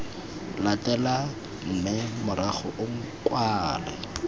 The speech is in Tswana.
latelang mme morago o kwale